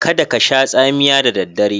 Kada kasha tsamiya da daddare.